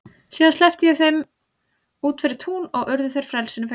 Síðan sleppti ég þeim út fyrir tún og urðu þeir frelsinu fegnir.